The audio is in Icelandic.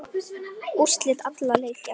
Úrslit allra leikja